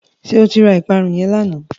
Ṣé o ra ìparun yẹn lánàá?